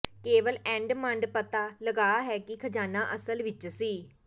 ਕੇਵਲ ਐਡਮੰਡ ਪਤਾ ਲੱਗਾ ਹੈ ਕਿ ਖਜਾਨਾ ਅਸਲ ਵਿਚ ਸੀ